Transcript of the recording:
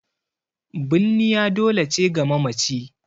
Binniya dole ce ga mamaci